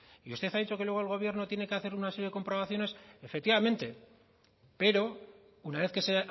y usted ha dicho que luego el gobierno tiene que hacer una serie de comprobaciones efectivamente pero una vez que se